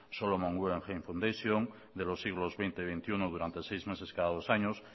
salomon guggenheim fundation de los siglos veinte y veintiuno durante seis meses cada dos años